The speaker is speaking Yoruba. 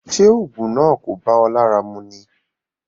Ṣé òògùn náà kò bá ọ lára mu ni?